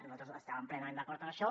nosaltres estàvem plenament d’acord amb això